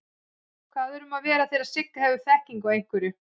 Hvað er um að vera þegar Sigga hefur þekkingu á einhverju?